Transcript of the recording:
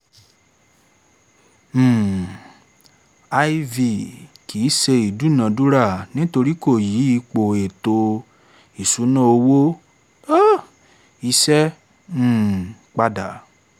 um iv) kìí se ìdúnadúrà nítorí kò yí ipò ètò ìṣúná owó um iṣẹ́ um pada